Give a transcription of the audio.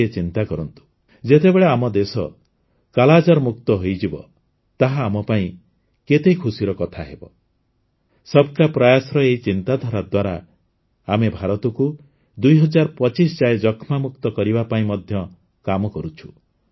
ଟିକିଏ ଚିନ୍ତା କରନ୍ତୁ ଯେତେବେଳେ ଆମ ଦେଶ କାଲାଜାରମୁକ୍ତ ହୋଇଯିବ ତାହା ଆମପାଇଁ କେତେ ଖୁସିର କଥା ହେବ ସବ୍କା ପ୍ରୟାସର ଏହି ଚିନ୍ତାଧାରା ଦ୍ୱାରା ଆମେ ଭାରତକୁ ୨୦୨୫ ଯାଏଁ ଯକ୍ଷ୍ମାମୁକ୍ତ କରିବା ପାଇଁ ମଧ୍ୟ କାମ କରୁଛୁ